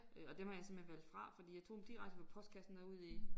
Øh og dem har jeg simpelthen valgt fra fordi jeg tog dem direkte fra postkassen og ud i